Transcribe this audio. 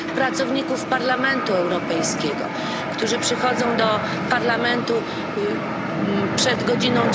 pracowników Parlamentu Europejskiego, którzy przychodzą do Parlamentu przed godziną